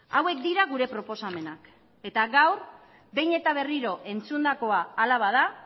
hauek dira gure proposamenak eta gaur behin eta berriro entzundakoa hala bada